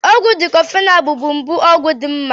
Ọgwụ diklofenak bụbụ ọgwụ mgbu dị mma.